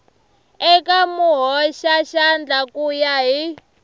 eka muhoxaxandla ku ya hi